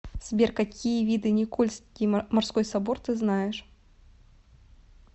сбер какие виды никольский морской собор ты знаешь